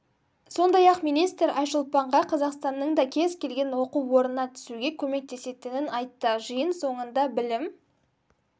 сондай-ақ министр айшолпанға қазақстанның да кез келген оқу орнына түсуге көмектесетінін айтты жиын соңында білім